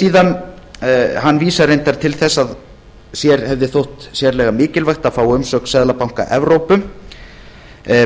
síðan hann vísar reyndar til þess að sér hefði þótt sérlega mikilvægt að fá umsögn seðlabanka evrópu